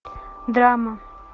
драма